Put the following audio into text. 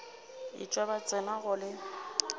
etšwa ba tsena go le